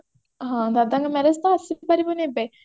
ହଁ ଦାଦାଙ୍କ marriage ତ ଆସି ପାରିବୁନି ଏବେ